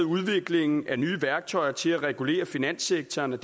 udviklingen af nye værktøjer til at regulere finanssektoren i